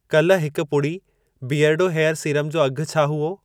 कल हिकु पुड़ी बीयरडो हेयर सीरम जो अघि छा हुओ?